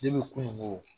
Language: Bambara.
kununko